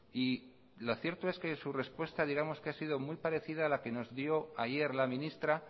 y lo cierto es que su respuesta digamos que ha sido muy parecida a la que nos dio ayer la ministra